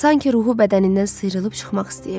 Sanki ruhu bədənindən sıyrılıb çıxmaq istəyirdi.